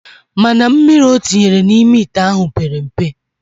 Mana mmiri otinyere na ime ite ahu pere mpe